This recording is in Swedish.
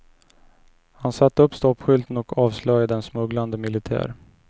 Han satte upp stoppskylten och avslöjade en smugglande militär.